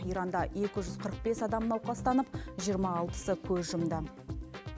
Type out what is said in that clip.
иранда екі жүз қырық бес адам науқастанып жиырма алтысы көз жұмды